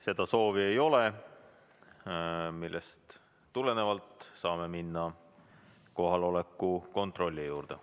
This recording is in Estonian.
Seda soovi ei ole, millest tulenevalt saame minna kohaloleku kontrolli juurde.